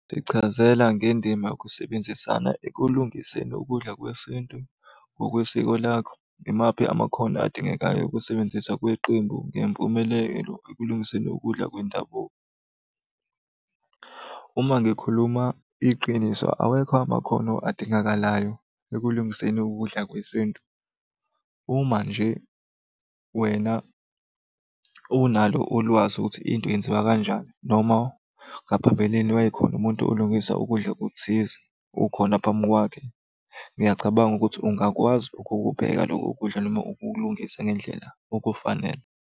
Sichazela ngendima yokusebenzisana ekulungiseni ukudla kwesintu ngokwesiko lakho. Imaphi amakhono adingekayo ukusebenziswa kweqembu ngempumelelo ekulungiseni ukudla kwendabuko? Uma ngikhuluma iqiniso awekho amakhono adingakalayo ekulungiseni ukudla kwesintu. Uma nje wena unalo ulwazi ukuthi into yenziwa kanjani noma ngaphambilini wayekhona umuntu olungisa ukudla okuthize, ukhona phambi kwakhe. Ngiyacabanga ukuthi ungakwazi ukukupheka loko kudla noma ukukulungisa ngendlela efanele.